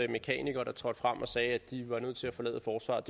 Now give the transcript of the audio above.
mekanikere der trådte frem og sagde at de var nødt til at forlade forsvaret